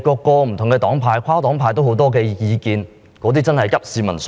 不同黨派及跨黨派對此有很多意見，真的是急市民所急。